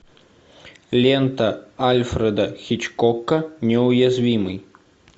лента альфреда хичкока неуязвимый